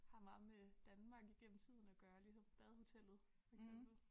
Har meget med Danmark igennem tiden at gøre ligesom Badehotellet for eksempel